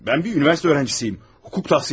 Mən bir universitet öğrençisiyəm, hukuk tahsil ediyorum.